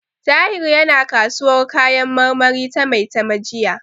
Tahir yana kasuwar kayan marmari ta Maitama jiya.